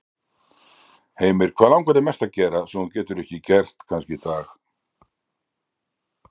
Heimir: Hvað langar þig mest að gera, sem þú getur ekki gert kannski í dag?